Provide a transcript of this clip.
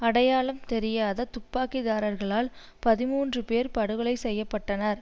அடையாளம் தெரியாத துப்பாக்கிதாரிகளால் பதிமூன்று பேர் படுகொலை செய்ய பட்டனர்